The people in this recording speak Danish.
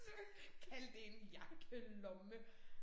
Så kalde det en jakkelomme